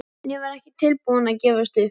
En ég var ekki tilbúin að gefast upp.